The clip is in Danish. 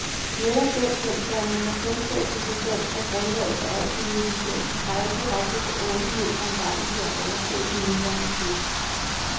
Netop den kendsgerning, at kundskab i sig selv er grundlaget for al civilisation, peger direkte på åbenhed som vejen til at overskride den nuværende krise.